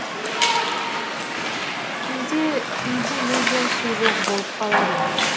кейде үйде мүлдем су жоқ болып қалады